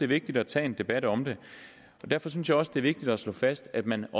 vigtigt at tage en debat om den derfor synes jeg også det er vigtigt at slå fast at man